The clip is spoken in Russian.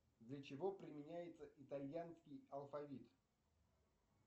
для чего применяется итальянский алфавит